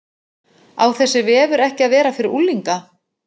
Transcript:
Á þessi vefur ekki að vera fyrir unglinga?